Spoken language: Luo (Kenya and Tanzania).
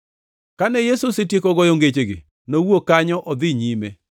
Kane Yesu osetieko goyo ngechegi, nowuok kanyo odhi nyime.